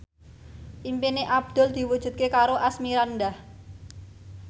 impine Abdul diwujudke karo Asmirandah